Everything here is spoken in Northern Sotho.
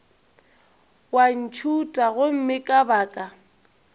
wa ntšhutha gomme ka baka